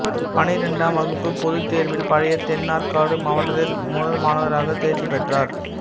பன்னிரெண்டாம் வகுப்பு பொதுத்தேர்வில் பழைய தென்னாற்காடு மாவட்டத்தில் முதல் மாணவராகத் தேர்ச்சிப் பெற்றார்